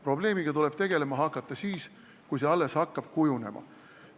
Probleemiga tuleb tegelema hakata siis, kui see alles hakkab kujunema.